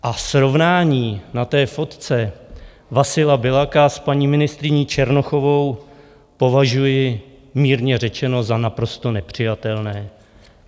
A srovnání na té fotce Vasila Biľaka s paní ministryní Černochovou považuji, mírně řečeno, za naprosto nepřijatelné.